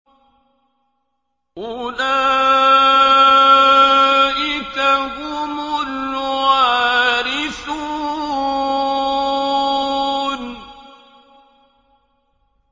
أُولَٰئِكَ هُمُ الْوَارِثُونَ